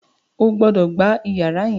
o gbódò gbà iyàrá yén!